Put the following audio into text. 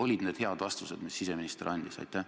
Olid need head vastused, mis siseminister andis?